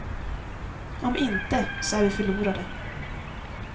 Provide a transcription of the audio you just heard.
Om inte, så är vi förlorade.